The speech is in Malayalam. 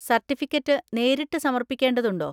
സർട്ടിഫിക്കറ്റ് നേരിട്ട് സമർപ്പിക്കേണ്ടതുണ്ടോ?